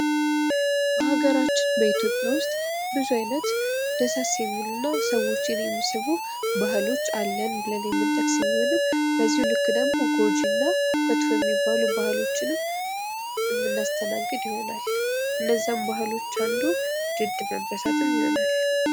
በሀገራችን በኢትዮጵያ ውስጥ ብዙ አይነት ደሳስ የሚሉና ሰዎችን የሚስቡ ባህሎች አለን ብለን የምንጠቅስ ቢሆንም በዚሁ ልክ ደግሞ ጎጂ እና መጥፎ የሚባሉ ባህሎችንም የሚያስተናግድ ይሆናል ከነዚያም ባህሎች አንዱ ድድ መበሳትም ይሆናል።